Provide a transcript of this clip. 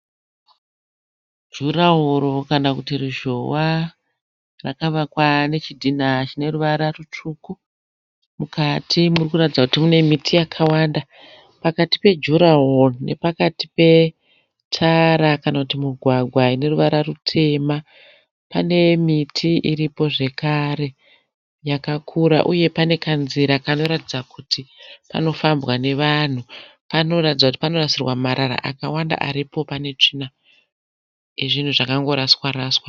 Juraworo kana kuti ruzhowa. Rakavakwa nechidhina chine ruvara rutsvuku. Mukati muri kurataridza kuti mune miti yakawanda. Pakati pejuraworo nepakati petara kana kuti mugwagwa ine ruvara rutema pane miti iripo zvekare yakakura uye pane kanzira kanoratidza kuti kanofambwa nevanhu. Panoratidza kuti panorasirwa marara akawanda aripo pane tsvina yezvinhu zvakangoraswa raswa.